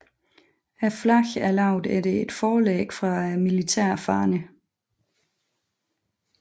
Flaget er lavet efter et forlæg fra militære faner